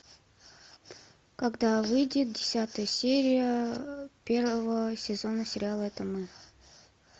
когда выйдет десятая серия первого сезона сериала это мы